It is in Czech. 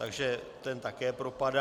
Takže ten také propadá.